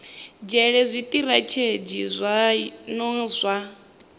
nzhele zwitirathedzhi zwa zwino zwa